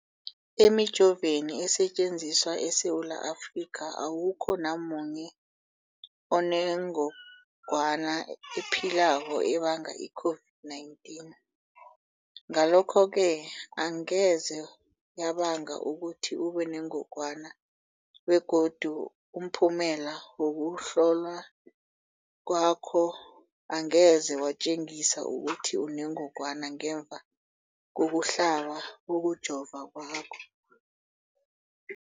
Emijoveni esetjenziswa eSewula Afrika, awukho namunye onengog wana ephilako ebanga i-COVID-19. Ngalokho-ke angeze yabanga ukuthi ubenengogwana begodu umphumela wokuhlolwan kwakho angeze watjengisa ukuthi unengogwana ngemva kokuhlaba, kokujova kwakho.